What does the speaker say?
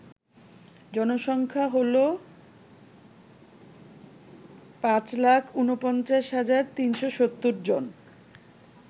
জনসংখ্যা হল ৫৪৯৩৭০ জন